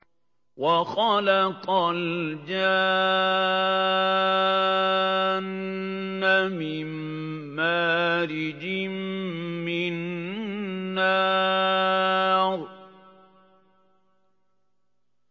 وَخَلَقَ الْجَانَّ مِن مَّارِجٍ مِّن نَّارٍ